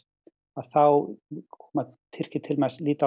að þá koma Tyrkir til með að líta á